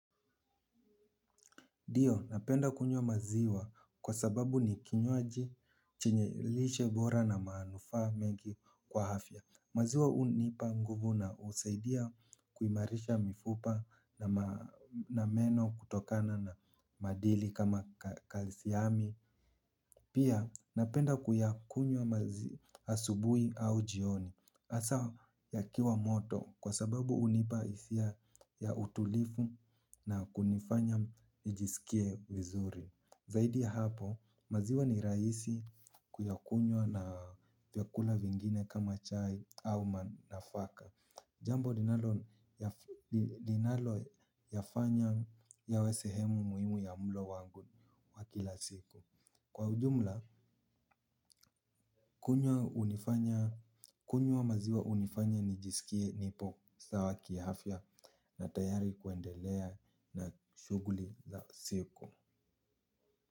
Ndiyo, napenda kunywa maziwa kwa sababu ni kinywaji chenye lishe bora na manufaa mengi kwa afya. Maziwa hunipa nguvu na husaidia kuimarisha mifupa na meno kutokana na madini kama kalsiami. Pia napenda kuyakunywa maziwa asubuhi au jioni hasa yakiwa moto kwa sababu hunipa hisia ya utulivu na kunifanya nijisikie vizuri. Zaidi ya hapo maziwa ni rahisi kuyakunywa na vyakula vingine kama chai au nafaka. Jambo linaloyafanya yawe sehemu muhimu ya mlo wangu wa kila siku. Kwa ujumla, kunywa maziwa hunifanya nijisikie nipo sawa kiafya na tayari kuendelea na shughuli za siku.